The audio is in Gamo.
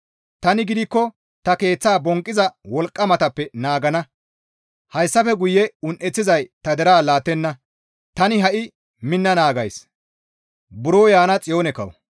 Tani gidikko ta keeththa bonqqiza wolqqamatappe naagana; hayssafe guye un7eththizay ta deraa laattenna. Tani ha7i minna naagays.